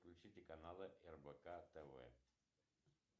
включите канал рбк тв